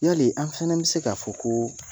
Yali an fana bɛ se k'a fɔ ko